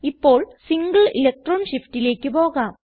ഇപ്പോൾ single electron shiftലേക്ക് പോകാം